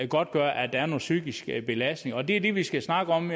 godtgøre at der er nogle psykiske belastninger og det er det vi skal snakke om